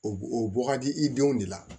O o bɔ ka di i denw de la